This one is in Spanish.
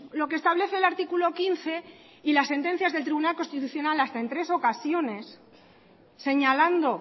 lo que establece el artículo quince y las sentencias del tribunal constitucional hasta en tres ocasiones señalando